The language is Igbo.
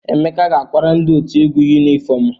Emeka ga-akwara ndị otu egwu yunifọmụ.